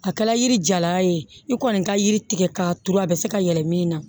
A kɛla yiri jala ye i kɔni ka yiri tigɛ k'a turu a bɛ se ka yɛlɛ min na